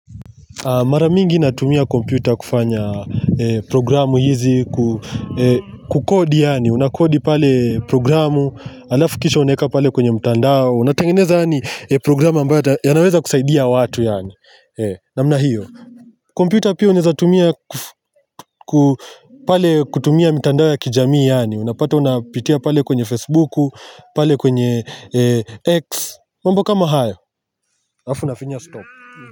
Mara mingi natumia komputa kufanya programu hizi, kukodi yaani, unakodi pale programu, alafu kisha unaeka pale kwenye mtandao, unatengeneza yaani programu ambayo yanaweza kusaidia watu yaani, namna hiyo. Komputa pia unaweza tumia pale kutumia mtandao ya kijamii yaani, unapata unapitia pale kwenye Facebook, pale kwenye X, mambo kama hayo, alafu unafinya stop.